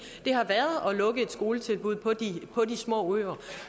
det har været at lukke et skoletilbud på de små øer